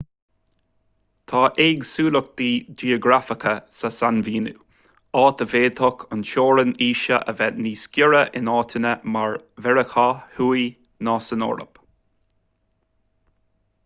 tá éagsúlachtaí geografacha sa sainmhíniú áit a bhféadfadh an teorainn aoise a bheith níos giorra in áiteanna mar mheiriceá thuaidh ná san eoraip